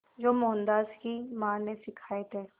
जो मोहनदास की मां ने सिखाए थे